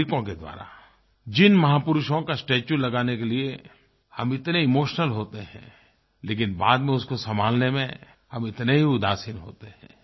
नागरिकों के द्वारा जिन महापुरुषों का स्टेच्यू लगाने के लिए हम इतने इमोशनल होते हैं लेकिन बाद में उसको संभालने में हम उतने ही उदासीन होते हैं